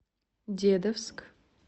дедовск